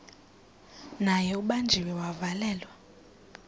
naye ubanjiwe wavalelwa